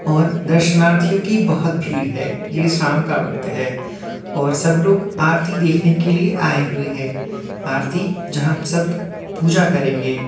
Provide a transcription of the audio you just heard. और दर्शनार्थियों की बहोत भीड़ है। ये शाम का वक्त है और सब लोग आरती देखने के लिए आए हुए हैं। आरती जहां सब पूजा करेंगे --